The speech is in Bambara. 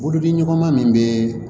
Bolodimɔgɔ ma min bɛ